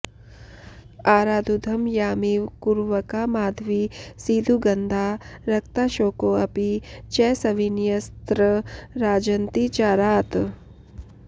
आराद्धुं यामिव कुरवका माधवी सीधुगन्धा रक्ताशोकोऽपि च सविनयस्तत्र राजन्ति चारात्